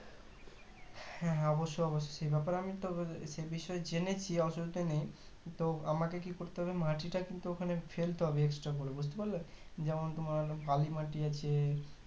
হ্যাঁ হ্যাঁ অবশ্যই অবশ্যই সে ব্যাপারে তো আমিতো সে বিষয়ে জেনেছি অসুবিধা নেই তো আমাকে কি করতে হবে মাটিটা কিন্তু ওখানে ফেলতে হবে extra করে বুজতে পারলে যেমন তোমার বালি মাটি আছে